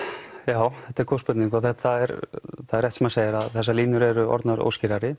já þetta er góð spurning og það er rétt sem hann segir að þessar línur eru orðnar óskýrari